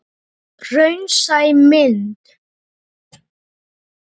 Kveðja, mamma.